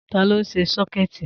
Ta ló ṣe sọ́kẹ̀tì?